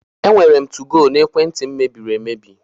Enwere m 2go n'ekwenti m mebiri emebi.